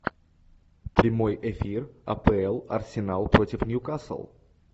прямой эфир апл арсенал против ньюкасл